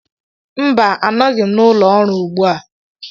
Mba, anọghị m n'ụlọ ọrụ ugbu a